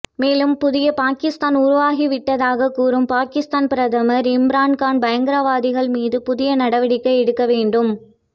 மேலும் புதிய பாகிஸ்தான் உருவாகிவிட்டதாக கூறும் பாகிஸ்தான் பிரதமர் இம்ரான்கான் பயங்கரவாதிகள் மீது புதிய நடவடிக்கை எடுக்க வேண்டும்